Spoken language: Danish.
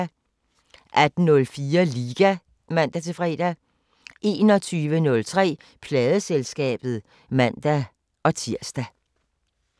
18:04: Liga (man-fre) 21:03: Pladeselskabet (man-tir)